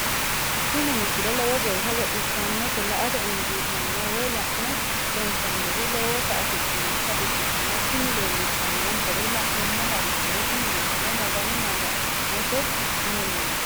tini misile lowo geeshsha baxissannote la"ate injiitanno woy la'ne ronsannire lowote afidhinota ikkitanna tini leellishshannonkeri la'nummoha ikkiro tini misile magano maga'note mineeti.